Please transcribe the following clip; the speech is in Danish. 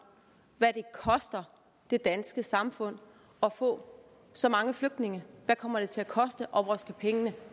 hvad det koster det danske samfund at få så mange flygtninge hvad kommer det til at koste og hvor skal pengene